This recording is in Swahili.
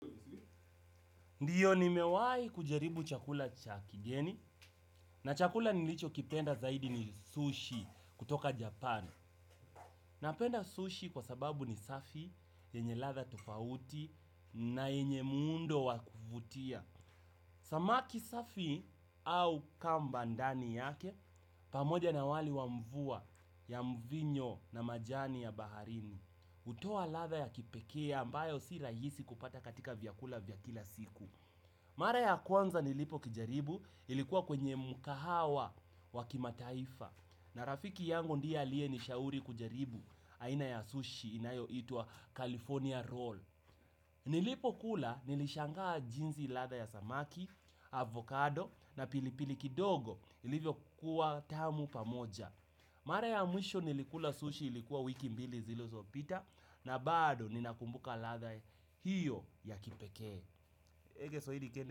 Ndiyo nimewai kujaribu chakula cha kigeni, na chakula nilicho kipenda zaidi ni sushi kutoka Japan. Napenda sushi kwa sababu ni safi, yenye ladha tofauti, na yenye muundo wa kuvutia. Samaki safi au kamba ndani yake, pamoja na wali wa mvua ya mvinyo na majani ya baharini. Hutoa ladha ya kipekee, ambayo si rahisi kupata katika vyakula vya kila siku. Mara ya kwanza nilipo kijaribu ilikuwa kwenye mkahawa wa kimataifa na rafiki yangu ndiye aliye nishauri kujaribu aina ya sushi inayoitwa California Roll. Nilipokula nilishangaa jinsi latha ya samaki, avocado na pilipili kidogo ilivyokuwa tamu pamoja. Mara ya mwisho nilikula sushi ilikuwa wiki mbili zilozopita na bado ninakumbuka ladha hiyo ya kipeke.